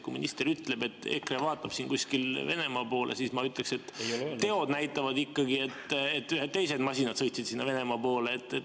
Kui minister ütleb, et EKRE vaatab kuskile Venemaa poole, siis ma ütleksin, et teod näitavad ikkagi, et ühed teised masinad sõitsid Venemaa poole.